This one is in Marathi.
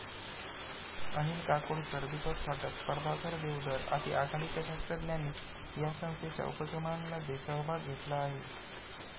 अनिल काकोडकर, दीपक फाटक, प्रभाकर देवधर, आदी आघाडीच्या शास्त्रज्ञांनी या संस्थेच्या उपक्रमांमध्ये सहभाग घेतला आहे.